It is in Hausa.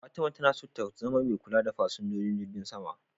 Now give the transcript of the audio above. Fatima tana so ta zama mai kula da fasinjojin jirgin sama.